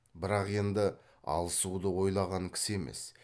бірақ енді алысуды ойлаған кісі емес